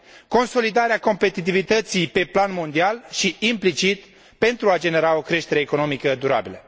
consolidarea competitivității pe plan mondial și, implicit, pentru a genera o creștere economică durabilă.